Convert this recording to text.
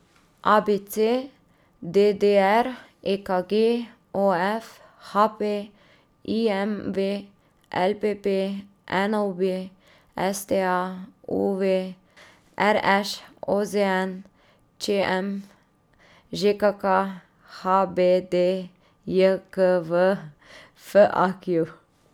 A B C; D D R; E K G; O F; H P; I M V; L P P; N O B; S T A; U V; R Š; O Z N; Č M; Ž K K; H B D J K V; F A Q.